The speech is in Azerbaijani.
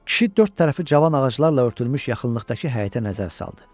Kişi dörd tərəfi cavan ağaclarla örtülmüş yaxınlıqdakı həyətə nəzər saldı.